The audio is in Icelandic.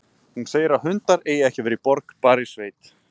Hún segir að hundar eigi ekki að vera í borg, bara í sveit.